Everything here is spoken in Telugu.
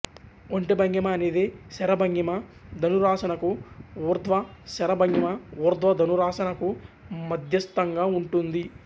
ఒంటె భంగిమ అనేది శర భంగిమ ధనురాసన కు ఊర్ధ్వ శర భంగిమ ఊర్ధ్వ ధనురాసన కు మధ్యస్థంగా ఉంటుంది